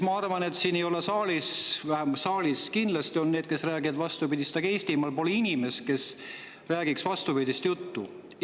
Ma arvan, et siin saalis ei ole, tegelikult saalis kindlasti on need, kes räägivad vastupidist, aga Eestimaal pole inimest, kes räägiks vastupidist juttu.